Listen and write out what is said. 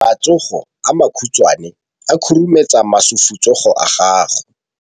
Matsogo a makhutshwane a khurumetsa masufutsogo a gago.